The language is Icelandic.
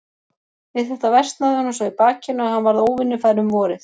Við þetta versnaði honum svo í bakinu, að hann varð óvinnufær um vorið.